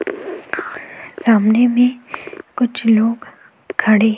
और सामने में कुछ लोग खड़े --